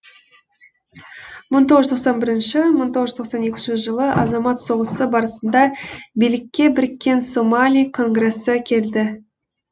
мың тоғыз жүз тоқсан бірінші тоқсан екінші жылы азамат соғысы барысында билікке біріккен сомали конгресі келді